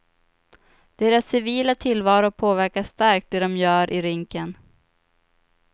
Deras civila tillvaro påverkar starkt det de gör i rinken.